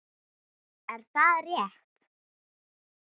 Er það rétt??